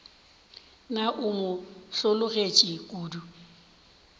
na o mo hlologetše kodu